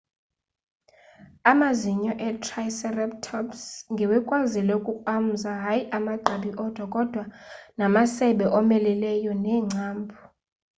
amazinyo e-triceratops ngewekwazile ukukrwamza hayi amagqabi odwa kodwa namasebe omeleleyo neengcambhu